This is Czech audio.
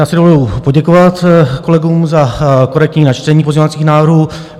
Já si dovoluji poděkovat kolegům za korektní načtení pozměňovacích návrhů.